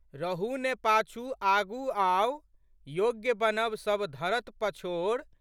रहू ने पाछू आगू आउ, योग्य बनब सब धरत पछोर।